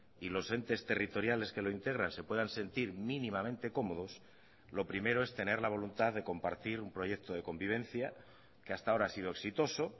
y los entes territoriales que lo integran se puedan sentir mínimamente cómodos lo primero es tener la voluntad de compartir un proyecto de convivencia que hasta ahora ha sido exitoso